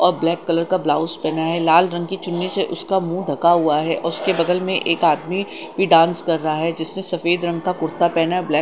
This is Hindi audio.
और ब्लैक कलर का ब्लाउज पहना है लाल रंग की चुन्नी से उसका मुंह ढका हुआ है और उसके बगल में एक आदमी भी डांस कर रहा है जिससे सफेद रंग का कुर्ता पहना है ब्लैक --